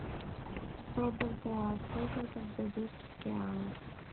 сто бальбоа сколько это в бразильских реалах